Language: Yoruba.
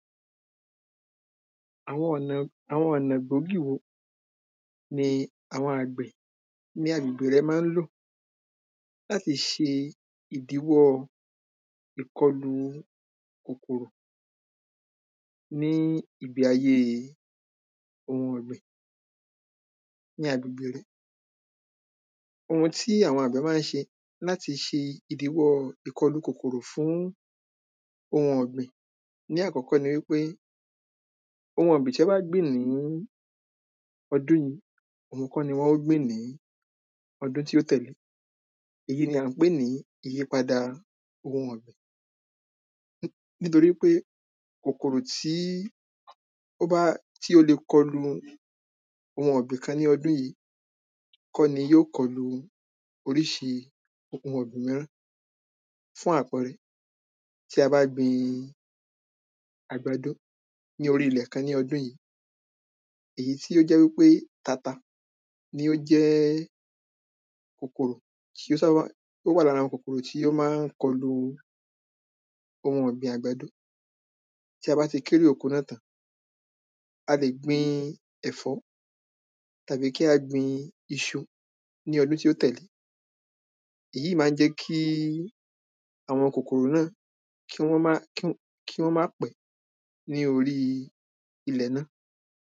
Àwọn ọnà àwọn ọ̀nà gbòógì wo ni àwọn àgbẹ̀ ní agbègbè rẹ máa ń lò láti ṣe ìdíwọ́ ìkọlù kòkòrò ní ìgbé ayé ohun ọ̀gbìn ní agbègbè rẹ ohun tí àwọn àgbẹ̀ máa ń ṣe láti ṣe ìdíwọ́ ìkọlù kòkòrò fún ohun ọgbìn ní àkọ́kọ́ ni wípé ohun ọ̀gbìn tí wọ́n bá gbìn ní ọdún yìí òhun kọ́ ni wọn ó gbìn ní ọdún tí ó tẹ̀lé e èyí ni à ń pè ní ìyípadà ohun ọ̀gbìn nítorí pé kòkòrò tí ó bá tí ó le kọlu ohun ọ̀gbìn kan ní ọdún yìí kọ́ ni yó kọlu oríṣi ohun ọ̀gbìn mìíràn fún àpẹẹrẹ tí a bá gbin àgbàdo ní orí ilẹ̀ kan ní ọdún yìí èyí tí ó jẹ́ wípe tata ni ó jẹ́ kòkòrò tí ó sáábà ó wà lára kòkòrò tí ó máa ń kọlu ohun ọ̀gbìn àgbàdo tí a bá ti kérè oko náà tán a lè gbin ẹ̀fọ́ tàbí kí a gbin iṣu ní ọdún tí ó tẹ̀lé e èyí máa ń jẹ́ kí àwọn kòkòrò náà kí wọ́n má kí kí wọ́n má pẹ́ ní orí ilẹ̀ náà